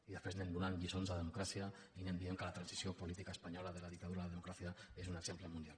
i després anem donant lliçons de democràcia i anem dient que la transició política espanyola de la dictadura a la democracia és un exemple mundial